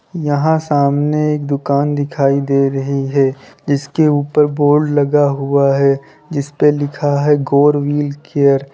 यहां सामने एक दुकान दिखाई दे रही है जिसके ऊपर बोर्ड लगा हुआ है जिसके ऊपर लिखा हुआ है गौर व्हील केयर ।